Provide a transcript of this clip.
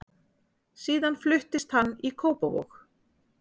Síðan fluttist hann í Kópavog.